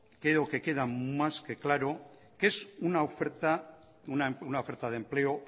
creo que queda más que claro que es una oferta de empleo